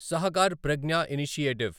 Sahakar Pragya initiative